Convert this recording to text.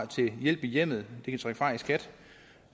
til hjælp i hjemmet fra i skat